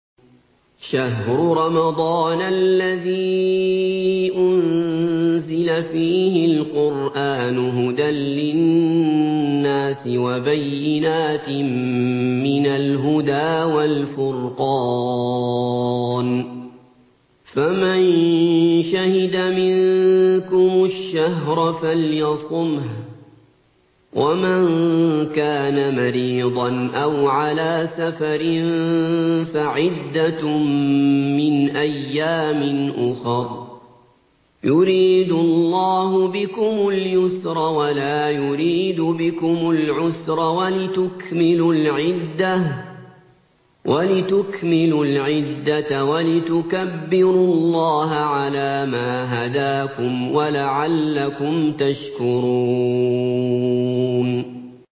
شَهْرُ رَمَضَانَ الَّذِي أُنزِلَ فِيهِ الْقُرْآنُ هُدًى لِّلنَّاسِ وَبَيِّنَاتٍ مِّنَ الْهُدَىٰ وَالْفُرْقَانِ ۚ فَمَن شَهِدَ مِنكُمُ الشَّهْرَ فَلْيَصُمْهُ ۖ وَمَن كَانَ مَرِيضًا أَوْ عَلَىٰ سَفَرٍ فَعِدَّةٌ مِّنْ أَيَّامٍ أُخَرَ ۗ يُرِيدُ اللَّهُ بِكُمُ الْيُسْرَ وَلَا يُرِيدُ بِكُمُ الْعُسْرَ وَلِتُكْمِلُوا الْعِدَّةَ وَلِتُكَبِّرُوا اللَّهَ عَلَىٰ مَا هَدَاكُمْ وَلَعَلَّكُمْ تَشْكُرُونَ